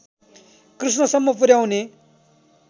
कृष्णसम्म पुर्‍याउने